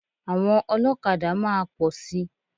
Àwọn ọlọ́kadà máa pọ̀ si.